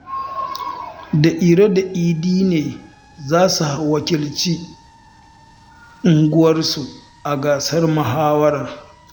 Da Iro da Idi ne za su wakilci unguwarsu a gasar muhawarar